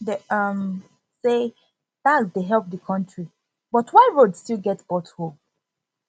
dem um say tax dey help the country but why road still get pothole